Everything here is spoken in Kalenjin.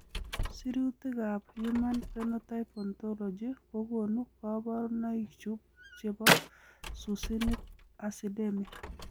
Sirutikab Human Phenotype Ontology kokonu koborunoikchu chebo Succinic acidemia.